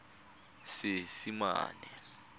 seesimane